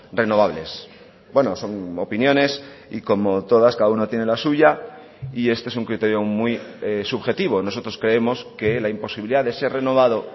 renovables bueno son opiniones y como todas cada uno tiene la suya y este es un criterio muy subjetivo nosotros creemos que la imposibilidad de ser renovado